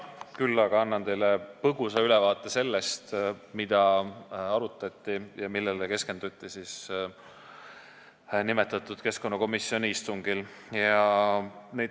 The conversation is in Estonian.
Küll aga annan teile põgusa ülevaate sellest, mida arutati ja millele keskenduti nimetatud keskkonnakomisjoni istungil.